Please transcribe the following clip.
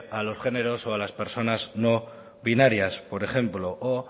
a los géneros o a las personas no binarias por ejemplo o